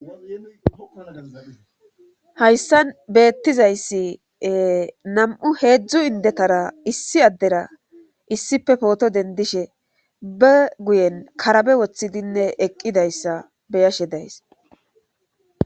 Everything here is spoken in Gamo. Hayssan beettizayssi nam'u heedzdzu indetara issi addera issife pooto dendishe be guyen karabe woththidinne eqqidayssa beyashe days.